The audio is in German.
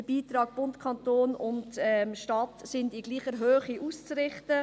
Die Beiträge von Bund, Kanton und Stadt sind in gleicher Höhe auszurichten.